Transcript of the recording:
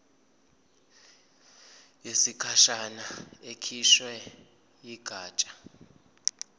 yesikhashana ekhishwe yigatsha